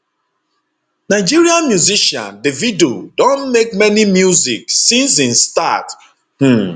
nigerian musician davido don make many music since im start um